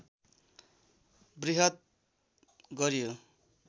वृहत् गरियो